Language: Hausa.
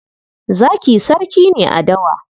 Zaki sarki ne a dawa.